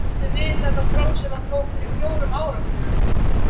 Áttu við þetta próf, sem hann tók fyrir fjórum áratugum?